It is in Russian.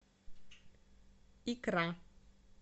икра